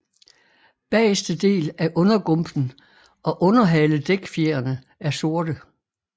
Bageste del af undergumpen og underhaledækfjerene er sorte